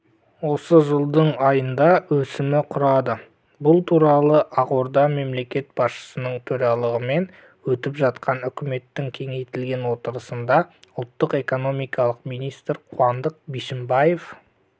осы жылдың айында өсімі құрады бұл туралы ақордада мемлекет басшысының төрағалығымен өтіп жатқан үкіметтің кеңейтілген отырысында ұлттық экономика министрі қуандық бишімбаев